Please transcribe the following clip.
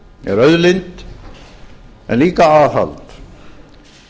er auðlind en líka aðhald